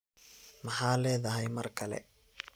Maxa leedhy mar kale.